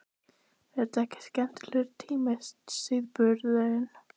Magnús Hlynur Hreiðarsson: er þetta ekki skemmtilegur tími sauðburðurinn?